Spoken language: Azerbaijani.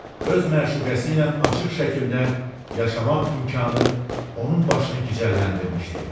Öz məşuqəsi ilə açıq şəkildə yaşamaq imkanı onun başını gicəlləndirmişdi.